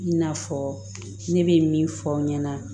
I n'a fɔ ne bɛ min fɔ aw ɲɛna